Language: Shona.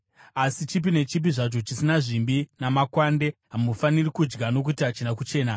Asi chipi nechipi zvacho chisina zvimbi namakwande hamufaniri kudya; nokuti hachina kuchena.